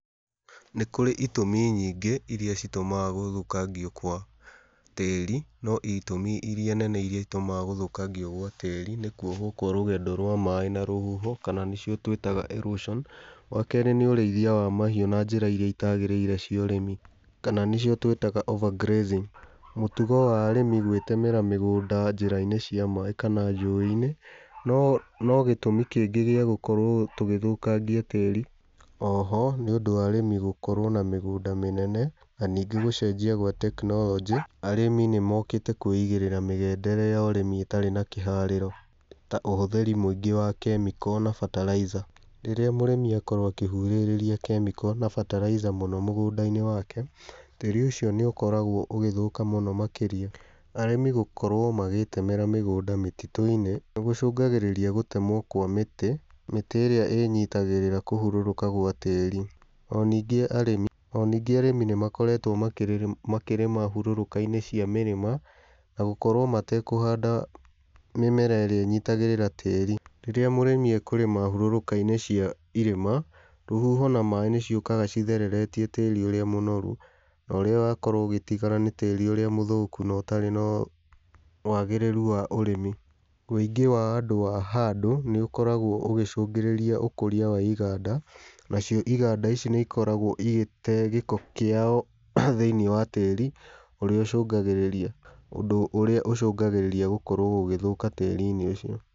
Nĩ kũrĩ itũmi nyingĩ iria citũmaga gũthũkangio kwa tĩĩri no itũmi iria nene iria itumaga gũthũkangio gwa tĩĩri, nĩkuohwo kwa rũgendo rwa maaĩ na rũhuho, kana nĩcio twĩtaga erosion. Wakeerĩ nĩ ũreithia wa mahiũ na njĩra iria itagĩrĩire cia ũrĩmi kana nĩcio twĩtaga overgrazing mũtugo wa arĩmi gwĩtemera mĩgũnda njĩra-inĩ cia maaĩ kana njũĩ-inĩ, no gĩtũmi kingĩ gĩa gũkorwo tũgĩthukangia tĩĩri. Oho nĩ ũndũ wa arĩmi gũkorwo na mĩgũnda mĩnene, na ningĩ gũcenjia gwa tekinoronjĩ arĩmi nĩ mokĩte kwĩigĩrĩra mĩgendere ya ũrĩmi ĩtarĩ na kĩharĩro, ta ũhũthĩri mũingĩ wa chemical na fertilizer. Rĩrĩa mũrĩmi akorwo akĩhuhĩrĩria chemical na [cs[ fertilizer mũno mũgũnda-inĩ wake, tĩĩri ũcio nĩ ũkoragwo ũgĩthũka mũno makĩria. Arĩmi gũkorwo magĩtemera mĩgũnda mĩtitũ-inĩ nĩ gũcũngagĩrĩria gũtemwo kwa mĩtĩ, mĩtĩ ĩrĩa ĩnyitagĩrĩra kũhũrũrũka gwa tĩĩri. O ningĩ arĩmi nĩ makoretwo makĩrĩma hurũrũka-inĩ cia mĩrĩma, na gũkorwo matekũhanda mĩmera ĩrĩa ĩnyitagĩrĩra tĩĩri. Rĩrĩa mũrĩmi ekũrĩma hurũrũka-inĩ cia irĩma, rũhuho na maaĩ nĩ ciukaga cithereretie tĩĩri ũrĩa mũnoru, no ũrĩa wakorwo ũgĩtigara nĩ tĩĩri ũrĩa mũthũku, no ũtarĩ na wagĩrĩru wa ũrĩmi. Wũingĩ wa andũ a handũ nĩ ũkoragwo ũgĩ cũngĩrĩria ũkũria wa iganda, nacio iganda ici nĩ ikoragwo igĩtee gĩko kĩao thĩiniĩ wa tĩĩri, ũndũ ũrĩa ũcũngagĩrĩria gũkorwo gũgĩthũka tĩĩri-inĩ ũcio.